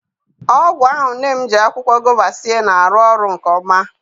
Ọgwụ ahụ nne m ji akwụkwọ gova sie na-arụ ọrụ nke ọma.